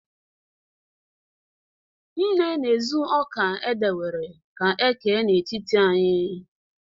nne na-ezu oka e were kee n'etiti anyi